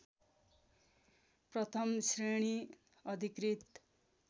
प्रथम श्रेणी अधिकृत